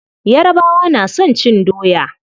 Yarabawa na son cin doya.